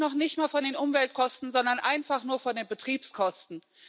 Und da rede ich noch nicht mal von den Umweltkosten, sondern einfach nur von den Betriebskosten.